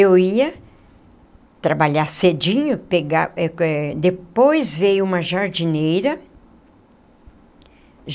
Eu ia trabalhar cedinho, pegar eh eh depois veio uma jardineira.